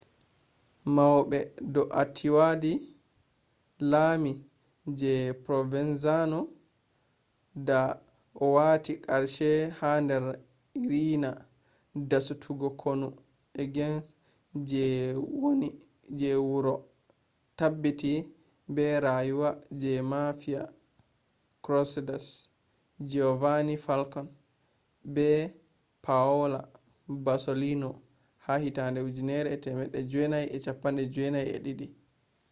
maube doartiwadi lami je provenzano da o wati qarshe ha dar riina dasutuggo konu against je wuro je tabbiti be rayuwa je mafia crusaders giovanni falcone be paola borsellino ha 1992’’